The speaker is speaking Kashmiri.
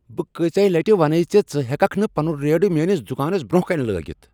بہٕ کٲژیٛاہ لٹہ ونے ژےٚ ز ژٕ ہٮ۪ککھ نہٕ پنن ریڑٕ میٛٲنس دکانس برٛۄنٛہہ کنہ لٲگتھ؟